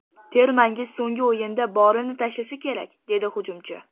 Termangiz so‘nggi o‘yinda borini tashlasa kerak”, - dedi hujumchi.